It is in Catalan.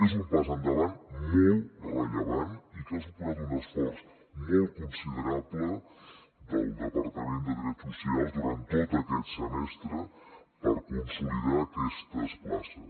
és un pas endavant molt rellevant i que ha suposat un esforç molt considerable del departament de drets socials durant tot aquest semestre per consolidar aquestes places